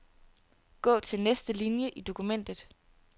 Gå til næste linie i dokumentet.